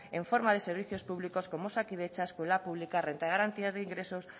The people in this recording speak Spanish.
en forma de servicios públicos como osakidetza escuela pública renta de garantía de ingresos